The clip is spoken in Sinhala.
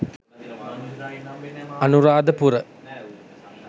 Anuradapura